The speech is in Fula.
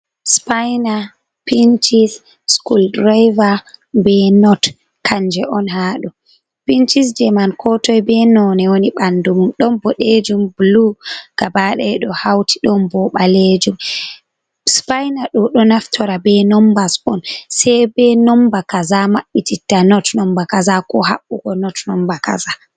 Spaina, pinchis, school driver, be not kanje on ha ɗo. Pinchis je man ko toi be none woni ɓandu mum ɗon boɗejum, blu, gaba daya ɗo hauti ɗon bo balejum. Spaina ɗo, ɗo naftora be nomba on sai be nomba kaza maɓɓi titta not nomba kaza, ko ha maɓɓugo not nomba kaza.